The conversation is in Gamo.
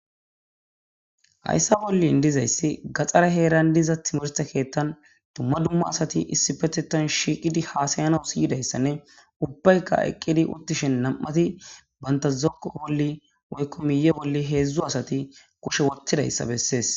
Hayssa bollin dizayssi gaxxare heeran diza timorste keettan dumma dumma asati issi petetan shiiqidi haasayana siyidayssanne ubbayka eqqidi uttishen nam7ati bantazokko bolli woykko miye bolli heedzdzu asati koshe wottidayssa bessees.